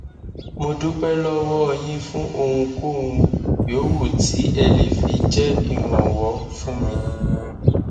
mo dúpẹ lọwọ yín fún ohunkóhun yòówù tí ẹ lè fi jẹ ìrànwọ fún mi